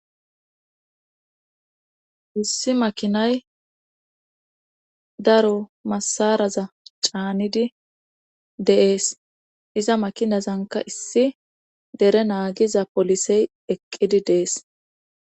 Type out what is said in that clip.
Issi makinay daro masaraza caanidi deees. iza makinazanka issi dere naagiza polisey eqqidi dees.